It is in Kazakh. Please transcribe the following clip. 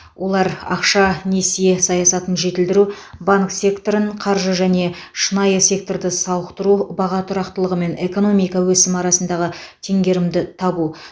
олар ақша несие саясатын жетілдіру банк секторын қаршы және шынайы секторды сауықтыру баға тұрақтылығы мен экономика өсімі арасындағы теңгерімді табу